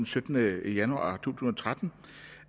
syttende januar tusind og tretten